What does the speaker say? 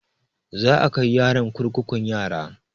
Za a kai yaron kurkukun yara